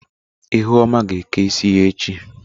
Ihuoma ga eke isi ya echi.